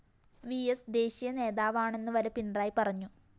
VS ദേശീയ നേതാവാണെന്നുവരെ പിണറായി പറഞ്ഞു